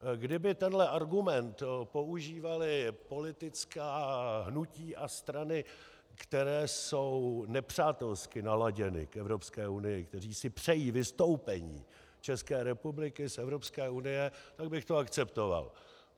Kdyby tenhle argument používaly politická hnutí a strany, které jsou nepřátelsky naladěny k Evropské unii, které si přejí vystoupení České republiky z Evropské unie, tak bych to akceptoval.